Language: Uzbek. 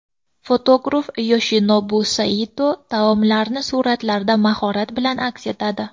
Fotograf Yoshinobu Sayito taomlarni suratlarda mahorat bilan aks etadi.